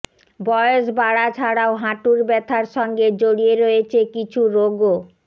বয়স বাড়া ছাড়াও হাঁটুর ব্যথার সঙ্গে জড়িয়ে রয়েছে কিছু রোগও